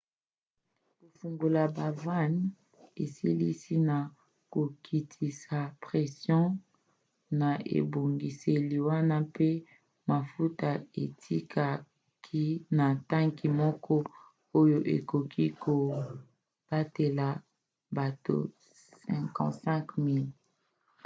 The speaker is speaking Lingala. kofungola bavannes esalisi na kokitisa pression na ebongiseli wana mpe mafuta ekitaki na tanki moko oyo ekoki kobatela batono 55 000 milangi 2,3 million